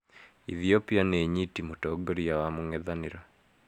Ethiopia nĩĩnyitĩ mũtongoria wa mũng'ethanĩro